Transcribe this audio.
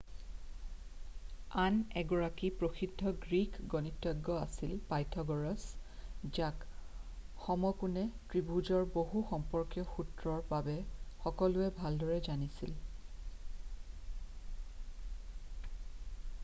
আন এগৰাকী প্ৰসিদ্ধ গ্ৰীক গণিতজ্ঞ আছিল পাইথাগ'ৰাছ যাক সমকোণী ত্ৰিভুজৰ বাহু সম্পৰ্কীয় সূত্ৰৰ বাবে সকলোৱে ভালদৰে জানিছিল